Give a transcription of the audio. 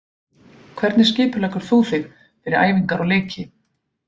Hvernig skipuleggur þú þig fyrir æfingar og leiki?